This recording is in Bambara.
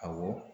Awɔ